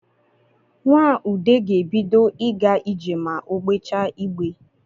Nwa ude ga-ebido ịga ije ma o gbejaa igbe